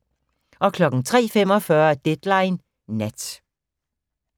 03:45: Deadline Nat